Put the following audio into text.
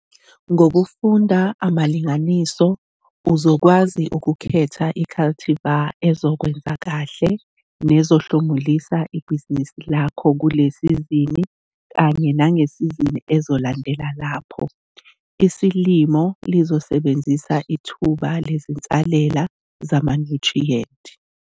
Ngokufunda amalinganiso uzokwazi ukukhetha i-cultivar ezokwenza kahle nezohlumulisa ibhizinisi lakho, kule sizini kanye nangesizini ezolandela lapho isilimo lizosebenzisa ithuba lezinsalela zamanyuthriyenti.